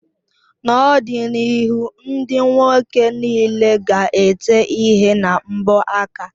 N'ọdịnihu ndị nwoke niile ga-ete ihe na mbọ aka